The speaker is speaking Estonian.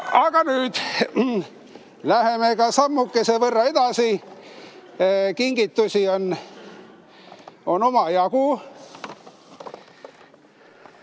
Aga nüüd läheme sammukese võrra edasi, kingitusi on omajagu.